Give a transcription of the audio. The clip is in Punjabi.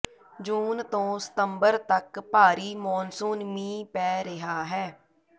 ਜੂਨ ਤੋਂ ਸਤੰਬਰ ਤਕ ਭਾਰੀ ਮੌਨਸੂਨ ਮੀਂਹ ਪੈ ਰਿਹਾ ਹੈ